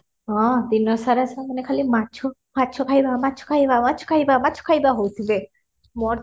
ହଁ ଦିନ ସାରା ସେମାନେ ଖାଲି ମାଛ ମାଛ ଖାଇବା ମାଛ ଖାଇବା ମାଛ ଖାଇବା ମାଛ ଖାଇବା ହଉଥିବେ ମୋର